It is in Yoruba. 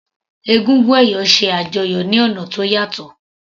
Egúngún ẹ̀yọ̀ ṣe àjọyọ̀ ní ọ̀nà tó yàtọ̀.